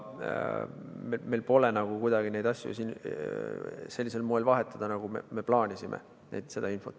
Meil pole võimalik kuidagi infot sellisel moel vahetada, nagu me plaanisime.